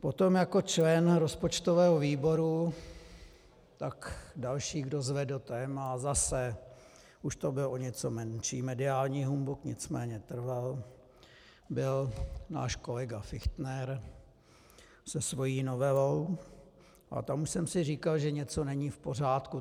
Potom jako člen rozpočtového výboru, tak další, kdo zvedl téma, a zase, už to byl o něco menší mediální humbuk, nicméně trval, byl náš kolega Fichtner se svou novelou a tam už jsem si říkal, že něco není v pořádku.